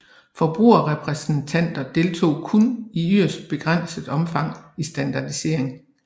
Forbrugerrepræsentanter deltog kun i yderst begrænset omfang i standardisering